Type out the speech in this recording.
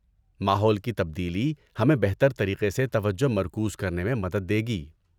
ماحول کی تبدیلی ہمیں بہتر طریقے سے توجہ مرکوز کرنے میں مدد دے گی۔